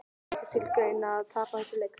Það kemur ekki til greina að tapa þessum leik!